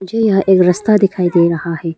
मुझे यहां एक रास्ता दिखाई दे रहा है।